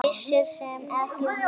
Missir sem ekki verður bættur.